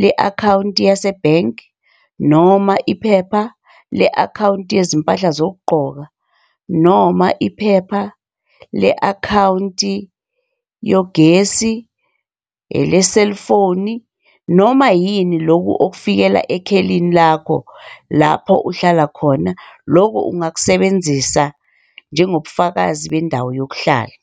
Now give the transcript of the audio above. le akhawunti yase-bank, noma iphepha le akhawunti yezimpahla zokugqoka, noma iphepha le akhawunti yogesi, eleselifoni, noma yini loku okufikela ekhelini lakho lapho uhlala khona. Lokho ungakusebenzisa njengobufakazi bendawo yokuhlala.